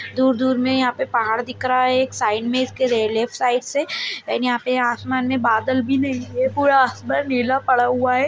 दूर-दूर में यहाँ पे पहाड़ दिख रहा है एक साइड में इसके लेफ्ट साइड से एंड यहाँ पे आसमान में बादल भी नहीं है ये पूरा आसमान नीला पड़ा हुआ है।